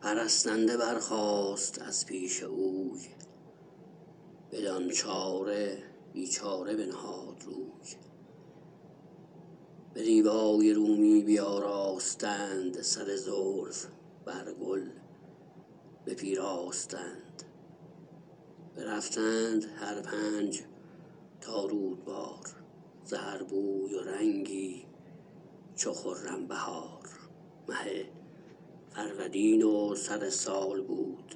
پرستنده برخاست از پیش اوی بدان چاره بی چاره بنهاد روی به دیبای رومی بیاراستند سر زلف برگل بپیراستند برفتند هر پنج تا رودبار ز هر بوی و رنگی چو خرم بهار مه فرودین وسر سال بود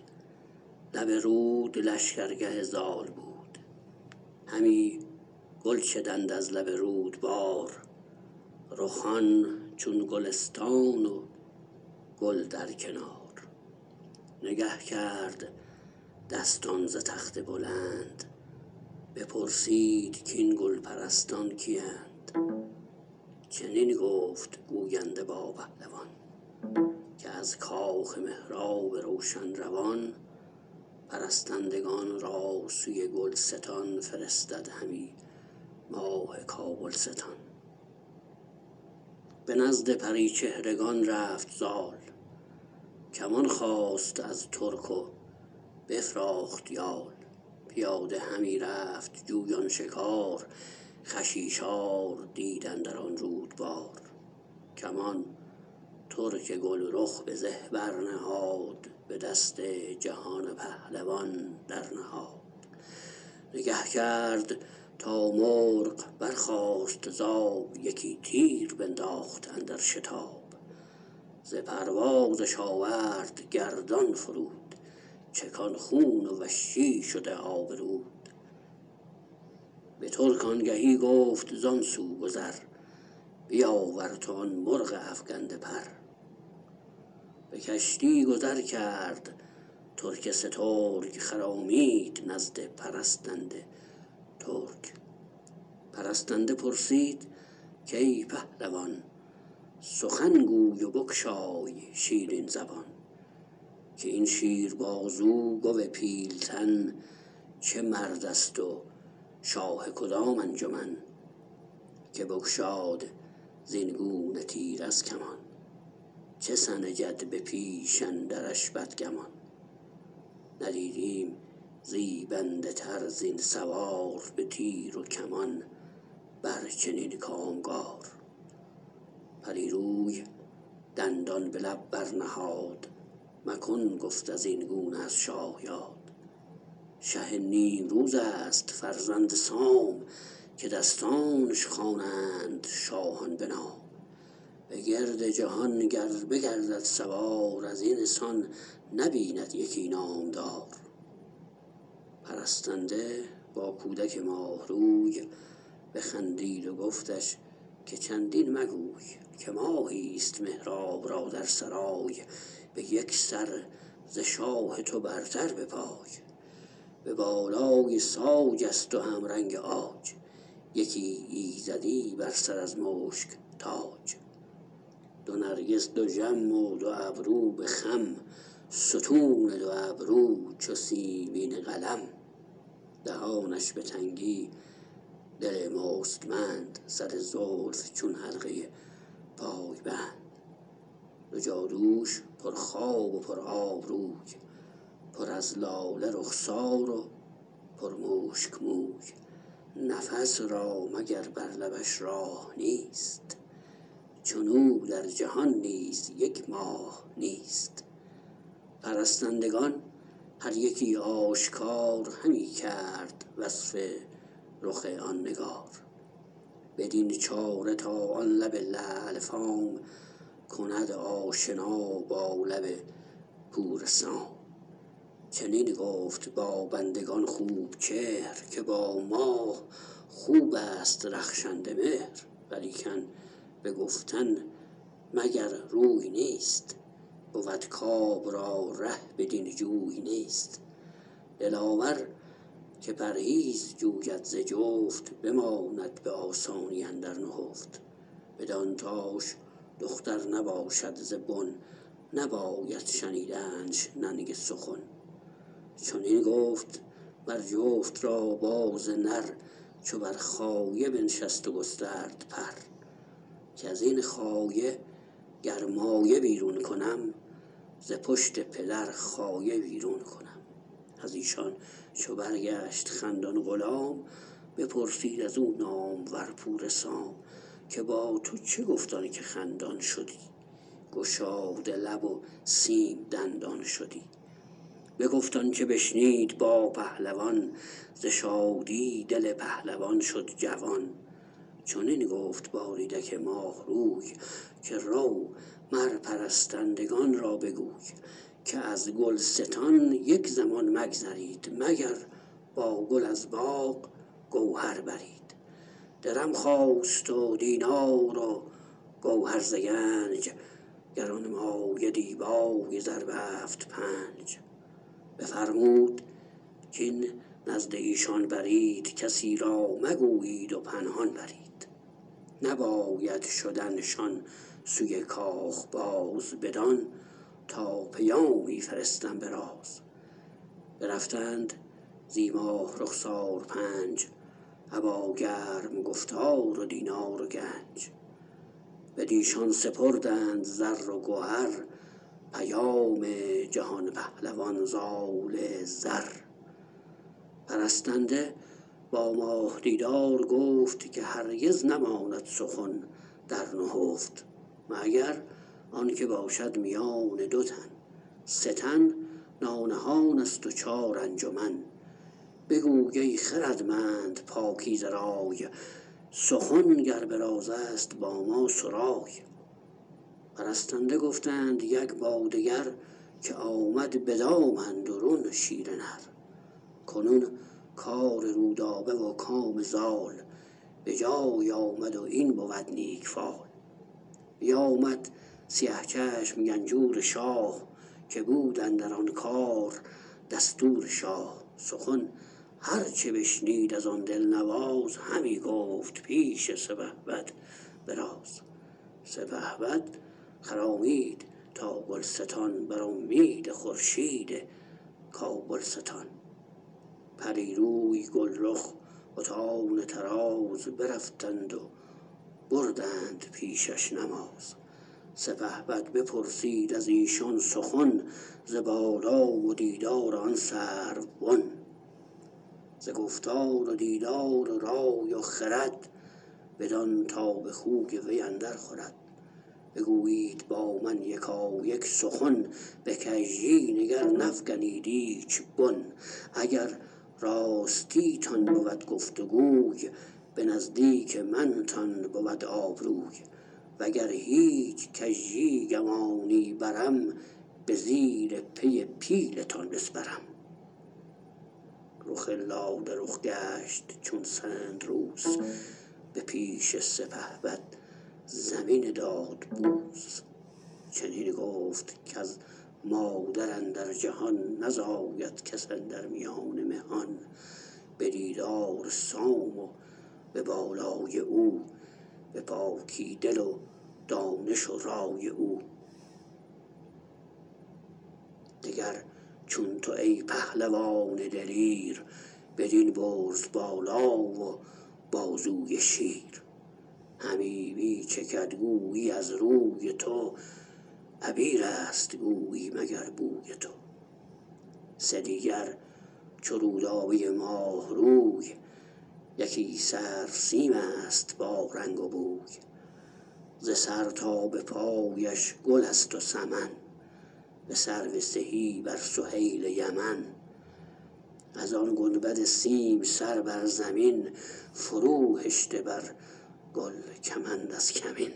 لب رود لشکرگه زال بود همی گل چدند از لب رودبار رخان چون گلستان و گل در کنار نگه کرد دستان ز تخت بلند بپرسید کاین گل پرستان کی ند چنین گفت گوینده با پهلوان که از کاخ مهراب روشن روان پرستندگان را سوی گلستان فرستد همی ماه کابلستان به نزد پری چهرگان رفت زال کمان خواست از ترک و بفراخت یال پیاده همی رفت جویان شکار خشیشار دید اندر آن رودبار کمان ترک گلرخ به زه بر نهاد به دست جهان پهلوان در نهاد نگه کرد تا مرغ برخاست ز آب یکی تیره بنداخت اندر شتاب ز پروازش آورد گردان فرود چکان خون و وشی شده آب رود بترک آنگهی گفت زان سو گذر بیاور تو آن مرغ افگنده پر به کشتی گذر کرد ترک سترگ خرامید نزد پرستنده ترک پرستنده پرسید کای پهلوان سخن گوی و بگشای شیرین زبان که این شیر بازو گو پیلتن چه مردست و شاه کدام انجمن که بگشاد زین گونه تیر از کمان چه سنجد به پیش اندرش بدگمان ندیدیم زیبنده تر زین سوار به تیر و کمان بر چنین کامگار پری روی دندان به لب برنهاد مکن گفت ازین گونه از شاه یاد شه نیمروزست فرزند سام که دستانش خوانند شاهان به نام بگرد جهان گر بگردد سوار ازین سان نبیند یکی نامدار پرستنده با کودک ماه روی بخندید و گفتش که چندین مگوی که ماهیست مهراب را در سرای به یک سر ز شاه تو برتر بپای به بالای ساج است و همرنگ عاج یکی ایزدی بر سر از مشک تاج دو نرگس دژم و دو ابرو به خم ستون دو ابرو چو سیمین قلم دهانش به تنگی دل مستمند سر زلف چون حلقه پای بند دو جادوش پر خواب و پرآب روی پر از لاله رخسار و پر مشک موی نفس را مگر بر لبش راه نیست چنو در جهان نیز یک ماه نیست پرستندگان هر یکی آشکار همی کرد وصف رخ آن نگار بدین چاره تا آن لب لعل فام کند آشنا با لب پور سام چنین گفت با بندگان خوب چهر که با ماه خوبست رخشنده مهر ولیکن به گفتن مگر روی نیست بود کاب را ره بدین جوی نیست دلاور که پرهیز جوید ز جفت بماند به آسانی اندر نهفت بدان تاش دختر نباشد ز بن نباید شنیدنش ننگ سخن چنین گفت مر جفت را باز نر چو بر خایه بنشست و گسترد پر کزین خایه گر مایه بیرون کنم ز پشت پدر خایه بیرون کنم ازیشان چو برگشت خندان غلام بپرسید از و نامور پور سام که با تو چه گفت آن که خندان شدی گشاده لب و سیم دندان شدی بگفت آنچه بشنید با پهلوان ز شادی دل پهلوان شد جوان چنین گفت با ریدک ماه روی که رو مر پرستندگان را بگوی که از گلستان یک زمان مگذرید مگر با گل از باغ گوهر برید درم خواست و دینار و گوهر ز گنج گرانمایه دیبای زربفت پنج بفرمود کاین نزد ایشان برید کسی را مگویید و پنهان برید نباید شدن شان سوی کاخ باز بدان تا پیامی فرستم براز برفتند زی ماه رخسار پنج ابا گرم گفتار و دینار و گنج بدیشان سپردند زر و گهر پیام جهان پهلوان زال زر پرستنده با ماه دیدار گفت که هرگز نماند سخن در نهفت مگر آنکه باشد میان دو تن سه تن نانهانست و چار انجمن بگوی ای خردمند پاکیزه رای سخن گر به رازست با ما سرای پرستنده گفتند یک با دگر که آمد به دام اندرون شیر نر کنون کار رودابه و کام زال به جای آمد و این بود نیک فال بیامد سیه چشم گنجور شاه که بود اندر آن کار دستور شاه سخن هر چه بشنید از آن دلنواز همی گفت پیش سپهبد به راز سپهبد خرامید تا گلستان بر امید خورشید کابلستان پری روی گلرخ بتان طراز برفتند و بردند پیشش نماز سپهبد بپرسید ازیشان سخن ز بالا و دیدار آن سرو بن ز گفتار و دیدار و رای و خرد بدان تا به خوی وی اندر خورد بگویید با من یکایک سخن به کژی نگر نفگنید ایچ بن اگر راستی تان بود گفت وگوی به نزدیک من تان بود آبروی وگر هیچ کژی گمانی برم به زیر پی پیلتان بسپرم رخ لاله رخ گشت چون سندروس به پیش سپهبد زمین داد بوس چنین گفت کز مادر اندر جهان نزاید کس اندر میان مهان به دیدار سام و به بالای او به پاکی دل و دانش و رای او دگر چون تو ای پهلوان دلیر بدین برز بالا و بازوی شیر همی می چکد گویی از روی تو عبیرست گویی مگر بوی تو سه دیگر چو رودابه ماه روی یکی سرو سیمست با رنگ و بوی ز سر تا به پایش گلست وسمن به سرو سهی بر سهیل یمن از آن گنبد سیم سر بر زمین فرو هشته بر گل کمند از کمین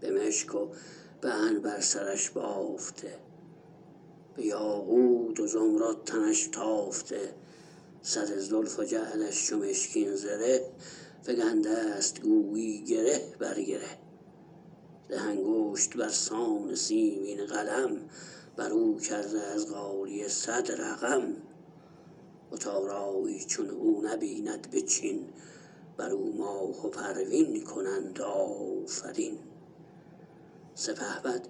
به مشک و به عنبر سرش بافته به یاقوت و زمرد تنش تافته سر زلف و جعدش چو مشکین زره فگندست گویی گره بر گره ده انگشت برسان سیمین قلم برو کرده از غالیه صدرقم بت آرای چون او نبیند بچین برو ماه و پروین کنند آفرین سپهبد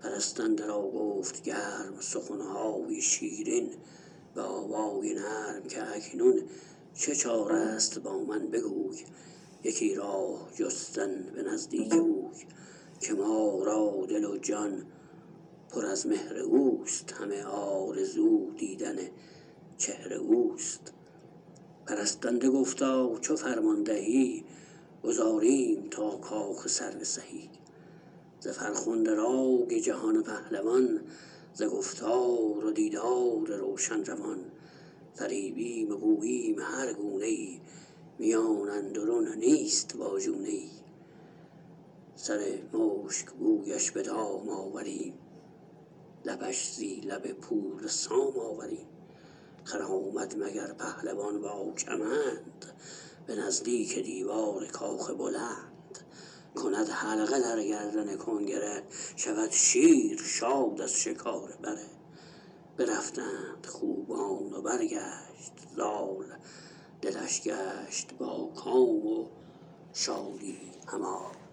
پرستنده را گفت گرم سخنهای شیرین به آوای نرم که اکنون چه چارست با من بگوی یکی راه جستن به نزدیک اوی که ما را دل و جان پر از مهر اوست همه آرزو دیدن چهر اوست پرستنده گفتا چو فرمان دهی گذاریم تا کاخ سرو سهی ز فرخنده رای جهان پهلوان ز گفتار و دیدار روشن روان فریبیم و گوییم هر گونه ای میان اندرون نیست واژونه ای سرمشک بویش به دام آوریم لبش زی لب پور سام آوریم خرامد مگر پهلوان با کمند به نزدیک دیوار کاخ بلند کند حلقه در گردن کنگره شود شیر شاد از شکار بره برفتند خوبان و برگشت زال دلش گشت با کام و شادی همال